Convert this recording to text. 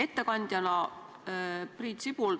Ettekandja Priit Sibul!